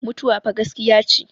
mutuwa fa gaskiya ce